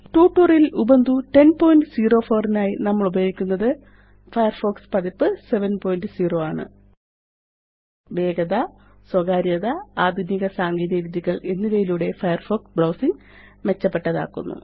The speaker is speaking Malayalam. ട്യൂട്ടോറിയൽ ല് ഉബുന്റു 1004 നായി നമ്മളുപയോഗിക്കുന്നത് ഫയർഫോക്സ് പതിപ്പ് 70 ആണ് വേഗത സ്വകാര്യത ആധുനിക സാങ്കേതികവിദ്യകള് എന്നിവയിലൂടെ ഫയർഫോക്സ് ബ്രൌസിംഗ് മെച്ചപ്പെട്ടതാക്കുന്നു